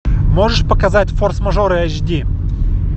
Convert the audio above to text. можешь показать форс мажоры эйч ди